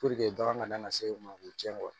bagan ka dama na se u ma k'u tiɲɛ